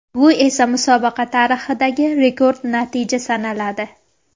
Bu esa musobaqa tarixidagi rekord natija sanaladi.